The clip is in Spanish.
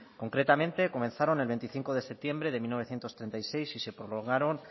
concretamente comenzaron el veinticinco de septiembre de mil novecientos treinta y seis y se prolongaron